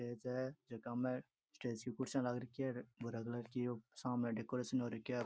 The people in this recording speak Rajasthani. ये स्टेज है झक में स्टेज की कुर्सियां लाग राखी है भूरा कलर की ओ सामने डेकोरेशन हो रखो है।